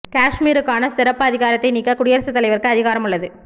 காஷ்மீருக்கான சிறப்பு அதிகாரத்தை நீக்க குடியரசுத் தலைவருக்கு அதிகாரம் உள்ளது